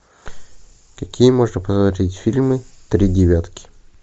какие можно посмотреть фильмы три девятки